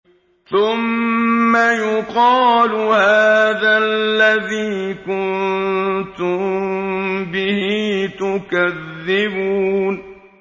ثُمَّ يُقَالُ هَٰذَا الَّذِي كُنتُم بِهِ تُكَذِّبُونَ